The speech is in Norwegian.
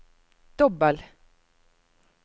dobbel